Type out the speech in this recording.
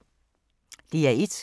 DR1